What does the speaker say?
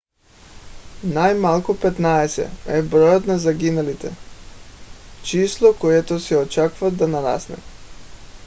най - малко 15 е броят на загиналите. число което се очаква да нарасне